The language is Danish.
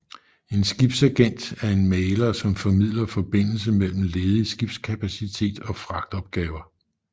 En skibsagent er en mægler som formidler forbindelse mellem ledig skibskapacitet og fragtopgaver